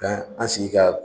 Bɛn an sigi ka